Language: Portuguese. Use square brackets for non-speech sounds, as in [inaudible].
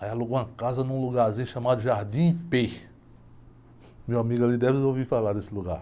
Aí alugou uma casa num lugarzinho chamado. [unintelligible] Meu amigo, ali deve ter ouvido falar desse lugar.